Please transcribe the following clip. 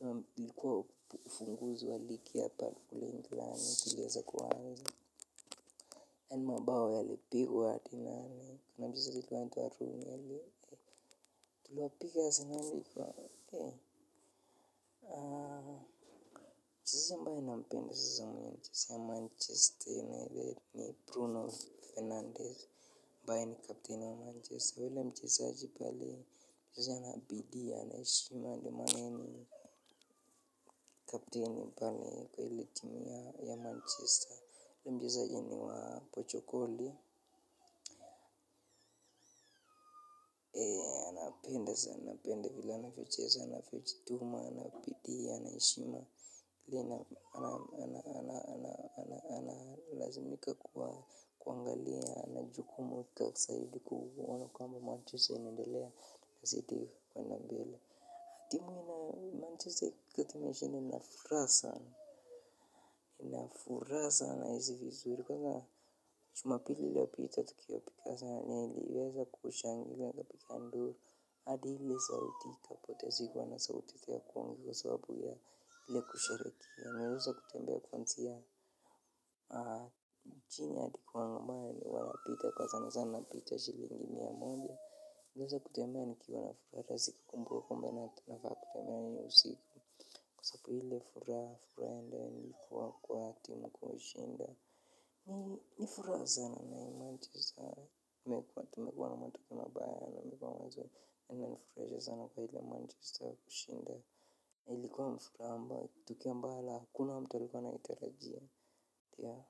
nam ilikuwa ufunguzi wa ligi hapa kule England iliweza kuaanza yani mabao yalipigwa tena kuna mchezaji alikuwa anaitwa Rooney tuliwapiga asenali. Aa mchezaji ambaye nampenda sasa mwenye huchezea manchester unites Kuno fernandez ambaye ni kapteni wa manchester yule mchezaji pale hucheza na bidii ana heshima ndo maana yeye ni kapteni pale kwa ile timu ya manchester. Mchezaji ni wa Portugal ndo hiyo sasa napenda vile anapocheza na kujituma na bidii ana heshima lazimika kuangalia na jukumu zaidi kuona kwamba manchester inaendelea izidi kuenda mbele na furaha nahisi vizuri kwanza jumapili iliyopita tukiwapiga asenali niliweza kushangilia nikapiga nduru hadi ili sauti ikapoteza sauti kwa sababu ya ile kusherekea nikaweza kutembea ya kuanzia aaa. Chini hadi kwa wangamaya ni wanapita kwa sana sana picha shilingi mia moja niweze kutembea nikiwa na furaha rahisi kukumbuka kwamba nafaa kufanya nini usiku kwa sababu ile furaha ile ilikuwa kwa timu kushinda au ni furaha sana nayo Manchester Imekwa mazuri na imenifurahisha sana kwa ile Manchester kushinda na ilikuwa tukio ambalo hakuna mtu alikuwa anaitarajia.